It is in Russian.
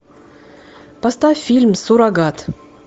поставь фильм суррогат